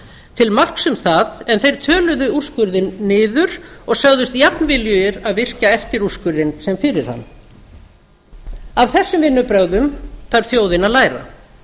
til marks um það en þeir töluðu úrskurðinn niður og sögðust jafnviljugir að virkja eftir úrskurðinn sem fyrir hann af þessum vinnubrögðum þarf þjóðin að læra